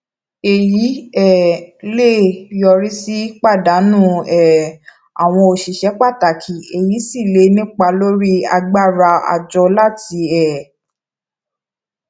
èyí um lè yọrí sí pàdánù um àwọn òṣìṣẹ pàtàkì èyí sì lè nípa lórí agbára àjọ láti um